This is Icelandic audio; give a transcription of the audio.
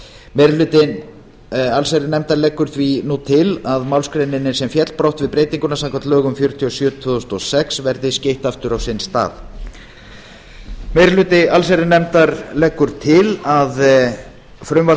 meiri hluti allsherjarnefndar leggur því nú til að málsgreininni sem féll brott við breytinguna samkvæmt lögum númer fjörutíu og sjö tvö þúsund og sex verði skeytt aftur á sinn stað meiri hluti allsherjarnefndar leggur til að frumvarp